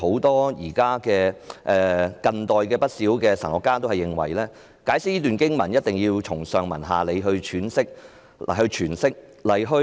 但是，近代有不少神學家均認為，這段經文必須從上文下理來詮釋。